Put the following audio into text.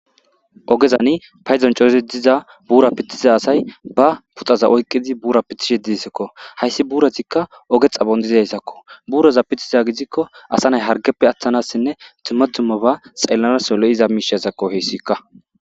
ogezani payzon cozi diza buura pithiza asay ba puxaza oykqidi buura pithishi disakko hayssi buuratikka oge xabondizayssakko buuroza pithiza gidikko asa nay hargeppe atthanassinne timatummo ba xellanas solo7iza miishasakko heyssikka